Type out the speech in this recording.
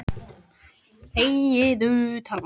Nei- sagði Valdimar og leit yfir hvítan garðinn.